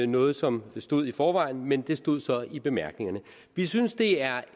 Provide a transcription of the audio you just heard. noget som stod der i forvejen men det stod så i bemærkningerne vi synes det er